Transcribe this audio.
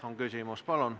Palun!